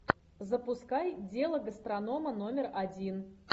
запускай дело гастронома номер один